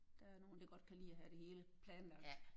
Der er nogen der godt kan lide at have det hele planlagt